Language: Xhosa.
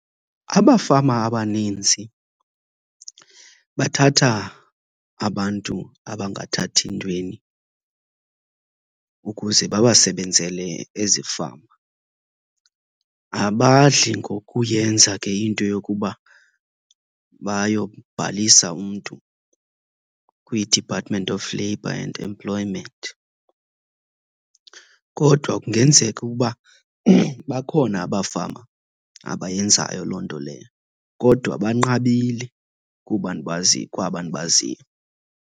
Abafama abaninzi bathatha abantu abangathathi ntweni ukuze babasebenzele ezifama. Abadli ngokuyenza ke into yokuba bayobhalisa umntu kwiDepartment of Labour and Employment. Kodwa kungenzeka ukuba bakhona abafama abayenzayo loo nto leyo, kodwa banqabile kuba , kwaba ndibaziyo.